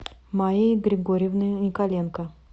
маей григорьевной николенко